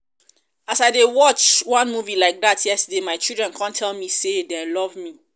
as i dey watch wan movie like dat yesterday my children come tell me say dey love me